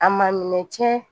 A ma minɛ cɛ